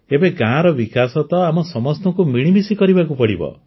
ଏବେ ଗାଁର ବିକାଶ ତ ଆମ ସମସ୍ତଙ୍କୁ ମିଳିମିଶି କରିବାକୁ ପଡ଼ିବ